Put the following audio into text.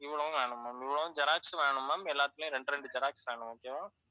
இவ்வளவும் வேணும் ma'am. இவ்வளவும் xerox உம் வேணும் ma'am. எல்லாத்துலையும் ரெண்டு, ரெண்டு xerox வேணும் okay வா